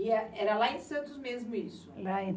E era lá em Santos mesmo isso?